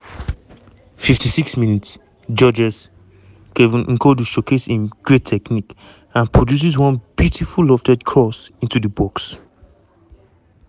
56 mins - georges-kevin n'koudou showcase im great technique and produces one beautiful lofted cross into di box.